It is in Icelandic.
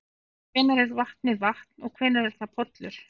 En hvenær er vatnið vatn og hvenær er það pollur?